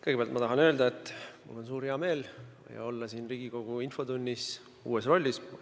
Kõigepealt ma tahan öelda, et mul on hea meel olla siin Riigikogu infotunnis uues rollis.